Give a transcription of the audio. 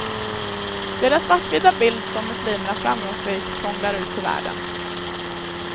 Det är den svartvita bild som muslimerna framgångsrikt prånglar ut till världen.